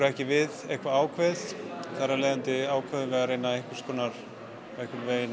ekki við eitthvað ákveðið þar af leiðandi ákváðum við að reyna einhvers konar að